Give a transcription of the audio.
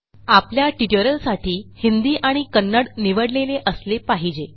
आपल्या ट्युटोरियलसाठी हिंदी आणि कन्नड निवडलेले असले पाहिजे